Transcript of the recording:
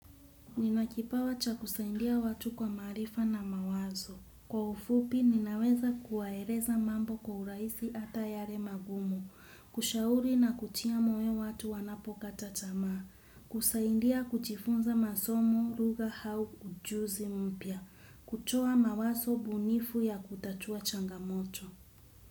Ninakipawa cha kusaidia watu kwa maarifa na mawazo. Kwa ufupi ninaweza kuwaeleza mambo kwa urahisi ata yale magumu, kushauri na kutia moyo watu wanapokata tamaa, kusaindia kujifunza masomo lugha hau ujuzi mpya, kutoa mawaso bunifu ya kutatua changamoto.